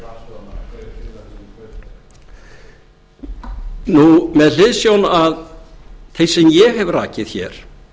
yfir með hliðsjón af því sem ég hef rakið hér